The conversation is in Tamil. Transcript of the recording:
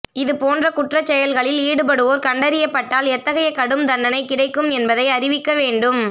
இது போன்ற குற்றச் செயல்களில் ஈடுபடுவோர் கண்டறியப் பட்டால் எத்தகைய கடும் தண்டனை கிடைக்கும் என்பதை அறிவிக்க வேண்டும்